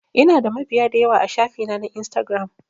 Ina da mabiya dayawa a shafi na na instagiram